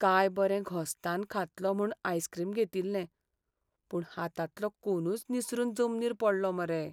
काय बरें घोस्तान खातलों म्हूण आयस्क्रीम घेतिल्लें, पूण हातांतलो कोनूच निसरून जमनीर पडलो मरे.